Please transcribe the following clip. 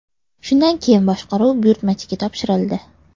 Shundan keyin boshqaruv buyurtmachiga topshirildi.